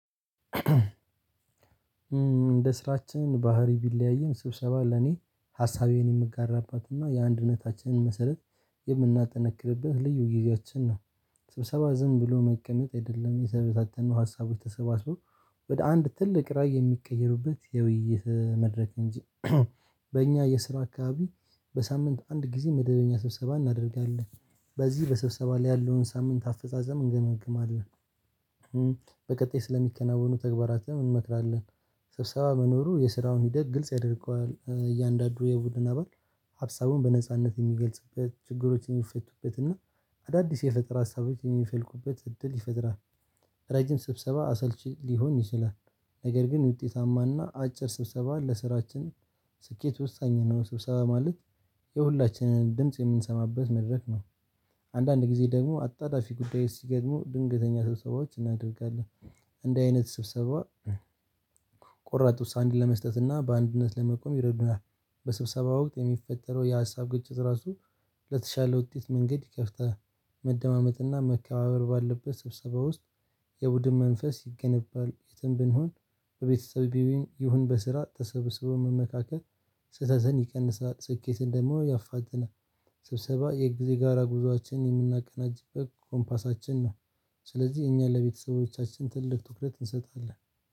እንደ ስራችን ባህሪ ቢለያይም ስብሰባ ለኔ ሀሳቤን የምጋራባትና የአንድነታችንን መሰረት የምናጠነክርበት ልዩ ጊዜያችን ነው። ስብሰባ ዝም ብሎ መቀመጥ አይደለም የተበታተኑ ሀሳቦች ተሰባስበው ወደ አንድ ትልቅ ራዕይ የሚቀየሩበት የውይይት መድረክ እንጂ። በእኛ የስራ አካባቢ በሳምንት አንድ ጊዜ መደበኛ ስብሰባ እናደርጋለን። በዚህ በስብሰባ ላይ ያለውን ሳምንት አፈጻጸም እንገመግማለን። በቀጣይ ስለሚከናወኑ ተግባራትን እንመክራለን። ስብሰባ መኖሩ የስራውን ሂደት ግልጽ ያደርገዋል እያንዳንዱ የቡድን አባል ሀብሳቡን በነጻነት የሚገልጽበት ችግሮችን የሚፈቱበት እና አዳዲስ የፈጠራ ሀሳቦችን የሚፈልቁበት እድል ይፈጥራል። ረጅም ስብሰባ አሰልች ሊሆን ይችላል። ነገር ግን ውጤታማና አጭር ስብሰባ ለስራችን ስኬት ወሳኝ ነው። ስብሰባ ማለት የሁላችንም ድምጽ የምንሰማበት መድረክ ነው። አንዳንድ ጊዜ ደግሞ አጣዳፊ ጉዳይ ሲገጥሙ ድንገተኛ ስብሰባዎች እናደርጋለን። እንዲህ አይነት ስብሰባ ቆራጥ ውሳኔ ለመስጠት እና በአንድነት ለመቆም ይረዱናል። በስብሰባ ወቅት የሚፈጠረው የሀሳብ ግጭት ራሱ ለተሻለ ውጤት መንገድ ይከፍታል። መደማመጥና መከባበር ባለበት ስብሰባ ውስጥ የቡድን መንፈስ ይገነባል። የትም ብንሆን በቤተሰብሄም ይሁን በስራ ተሰብስቦ መካከል ስተዘን ይቀንሳል ስኬትን ደግሞ ያፋዘናል። ስብሰባ የጊዜ ጋራ ጉዞአችንን የምናቀናጅበት ኮምፓሳችን ነው። ስለዚህ እኛ ለቤተሰቦቻችን ትልቅ ትኩረት እንሰጣለን